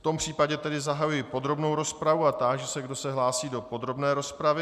V tom případě tedy zahajuji podrobnou rozpravu a táži se, kdo se hlásí do podrobné rozpravy.